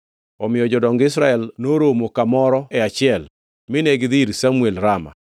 Omiyo jodong Israel noromo kamoro achiel mine gidhi ir Samuel Rama.